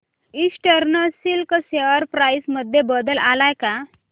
eastern Silk share price मध्ये बदल आलाय का